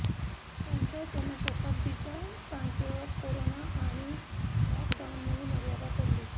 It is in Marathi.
त्यांच्या जन्मशताब्दीच्या सांगतेवर कोरोना आणि लॉक डाऊनमुळे मर्यादा पडली